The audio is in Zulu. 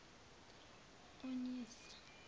onyesa